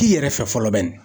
K'i yɛrɛ fɛ fɔlɔ bɛnni.